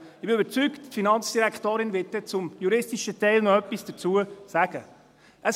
Ich bin überzeugt, dass die Finanzdirektorin dann zum juristischen Teil noch etwas sagen wird.